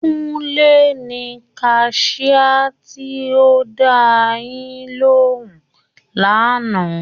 Kúnlé ni kaṣiá tí ó dáa yín lóhùn lánàá